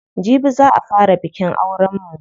Jibi za a fara bikin auren mu.